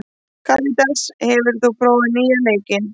Karitas, hefur þú prófað nýja leikinn?